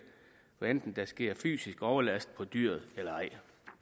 hvad enten der sker fysisk overlast på dyret eller ej i